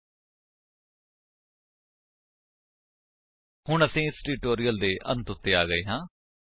http spoken tutorial org ਨਮੈਕਟ intro ਹੁਣ ਅਸੀ ਇਸ ਟਿਊਟੋਰਿਅਲ ਦੇ ਅੰਤ ਵਿੱਚ ਆ ਗਏ ਹਾਂ